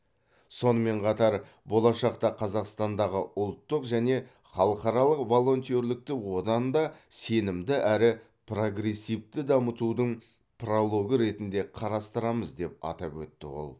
сонымен қатар болашақта қазақстандағы ұлттық және халықаралық волонтерлікті одан да сенімді әрі прогрессивті дамытудың прологы ретінде қарастырамыз деп атап өтті ол